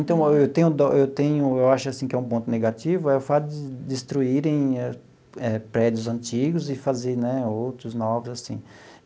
Então, eu tenho, eu tenho, eu acho, assim, que é um ponto negativo, é o fato de destruírem prédios antigos e fazer, né, outros, novos, assim.